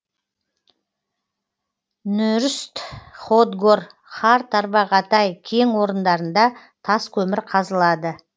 нүүрст хотгор хар тарвагатай кең орындарында тас көмір қазылады